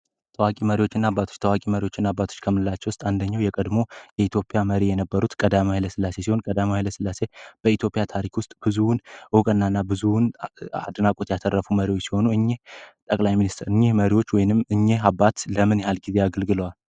ታዋቂ መሪዎችና አባት ታዋቂ መሪዎችና አባቶች ውስጥ አንደኛው የቀድሞ የኢትዮጵያ መሪ የነበሩት ቀዳማዊ ኃይለ ስላሴ ሲሆን ቀዳማዊ ኃይለ ስላሴ በኢትዮጵያ ታሪክ ውስጥ ብዙውን እውቅና ና ብዙውን አድናቆት ያተረፍ ሲሆን ጠቅላይ ሚኒስትር የመሪዎች ወይንም እኛ አባት ለምን ያህል ጊዜ አገልግሏል?